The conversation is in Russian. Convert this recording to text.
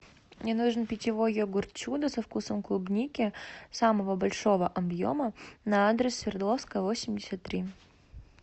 мне нужен питьевой йогурт чудо со вкусом клубники самого большого объема на адрес свердловская восемьдесят три